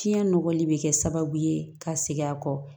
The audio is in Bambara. Fiɲɛ nɔgɔli bɛ kɛ sababu ye ka segin a kɔ